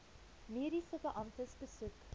mediese beamptes besoek